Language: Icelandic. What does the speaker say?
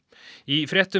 í fréttum